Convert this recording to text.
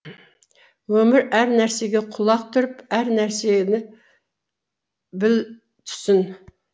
өмір әр нәрсеге құлақ түріп әр нәрсені біл түсін